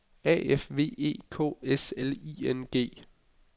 A F V E K S L I N G